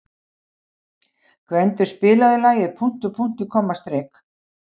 Gvendur, spilaðu lagið „Punktur, punktur, komma, strik“.